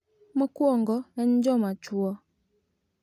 Mokwongo en joma chwo.